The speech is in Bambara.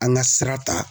An ka sira ta